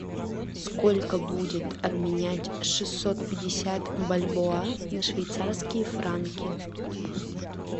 сколько будет обменять шестьсот пятьдесят бальбоа на швейцарские франки